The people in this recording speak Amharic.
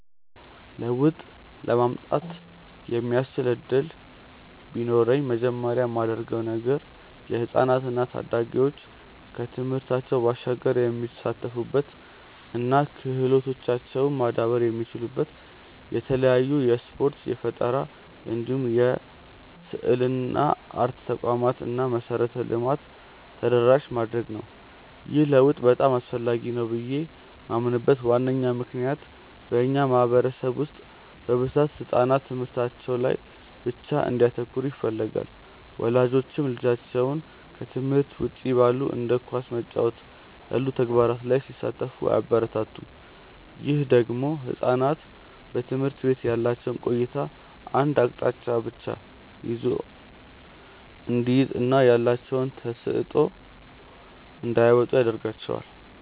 ለውጥ ለማምጣት የሚያስችል እድል ቢኖረኝ መጀመሪያ ማደርገው ነገር የህፃናት እና ታዳጊዎች ከትምህርታቸው ባሻገር የሚሳተፉበት እና ክህሎታቸውም ማዳበር የሚችሉበት የተለያዩ የስፖርት፣ የፈጠራ እንዲሁም የስዕልና አርት ተቋማትን እና መሰረተ ልማትን ተደራሽ ማድረግ ነው። ይህ ለውጥ በጣም አስፈላጊ ነው ብዬ ማምንበት ዋነኛ ምክንያት በእኛ ማህበረሰብ ውስጥ በብዛት ህጻናት ትምህርታቸው ላይ ብቻ እንዲያተኩሩ ይፈለጋል። ወላጆችም ልጆቻቸው ከትምህርት ውጪ ባሉ እንደ ኳስ መጫወት ያሉ ተግባራት ላይ ሲሳተፉ አያበረታቱም። ይህ ደግሞ ህጻናት በትምህርት ቤት ያላቸው ቆይታ አንድ አቅጣጫን ብቻ እንዲይዝ እና ያላቸውን ተሰጥዖ እንዳያወጡ ያረጋቸዋል።